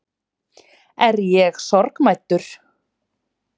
Er ég sorgmæddur?